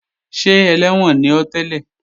Ṣé ẹlẹ́wọ̀n ni ọ́ tẹ́lẹ̀?